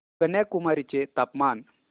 कन्याकुमारी चे तापमान